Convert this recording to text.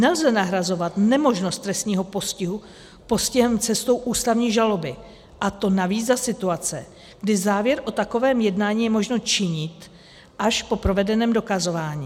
Nelze nahrazovat nemožnost trestního postihu postihem cestou ústavní žaloby, a to navíc za situace, kdy závěr o takovém jednání je možno činit až po provedeném dokazování.